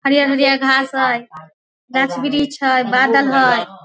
हरिहर हरिहर घास हेय गाछ वृक्ष हेय बादल हेय।